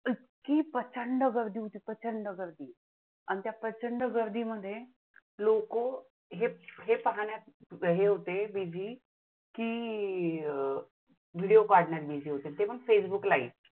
आणि त्या प्रचंड गर्दीमध्ये लोक जे पहाण्यात busy होते की अं video काढण्यात busy होते फेसबुक live